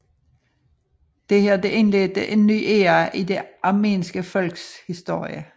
Dette indledte en ny æra i det armenske folks historie